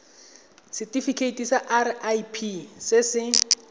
setifikeiting sa irp se se